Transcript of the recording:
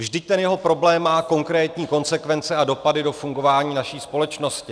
Vždyť ten jeho problém má konkrétní konsekvence a dopady do fungování naší společnosti.